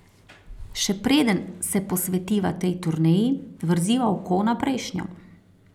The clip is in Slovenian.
Še preden se posvetiva tej turneji, vrziva oko na prejšnjo.